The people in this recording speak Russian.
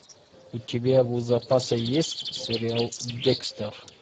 у тебя в запасе есть сериал декстер